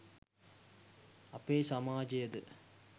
අපේ සමාජය ද